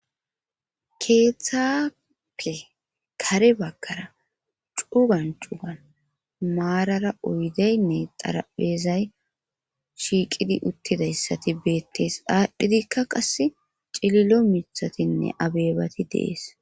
Keethape kare baggara cugan cugan maarara oydynne xarapheezay shiiqidi uttidayssa beettes aadhidikka qassi cililo mithatinne abeenati de7ees.